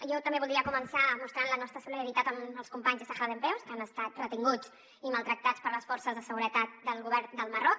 jo també voldria començar mostrant la nostra solidaritat amb els companys de sàhara dempeus que han estat retinguts i maltractats per les forces de seguretat del govern del marroc